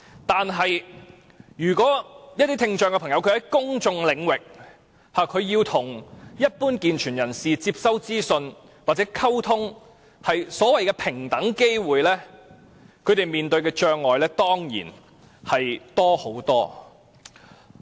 但如果一些聽障朋友要在公眾領域，接收一般健全人士的資訊或與之溝通，即所謂的平等機會，他們面對的障礙當然大得多。